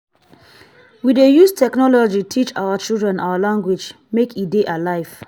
we dey use technology teach our children our language make e dey alive.